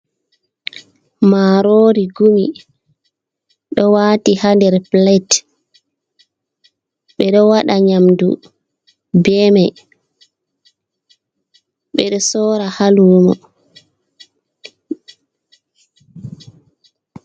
Marori gumi ɗo wati ha nder plate, ɓe ɗo waɗa nyamdu be mai ɓe ɗo sora ha lumo.